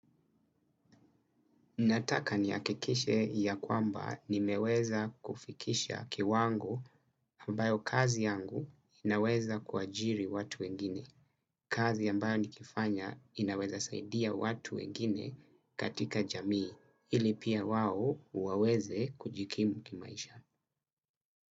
Nataka niakikishe ya kwamba nimeweza kufikisha kiwango ambayo kazi yangu inaweza kuajiri watu wengine. Kazi ambayo nikifanya inaweza saidia watu wengine katika jamii ili pia wao waweze kujikimu kimaisha.